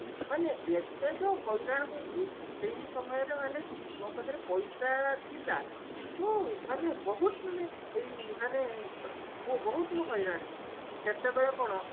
ମାନେ ଏତେ ଯେ ହଇରାଣ ହେଇଛି ଏଇ ସମୟରେ ମାନେ ମୋ ପାଖରେ ପଇସା ଥିଲା କିନ୍ତୁ ମାନେ ବହୁତ ମାନେ ଏଇ ମାନେ ବହୁତ ମୁଁ ହଇରାଣ ହେଇଛି ସେତେବେଳେ କଣ